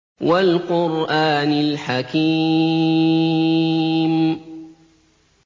وَالْقُرْآنِ الْحَكِيمِ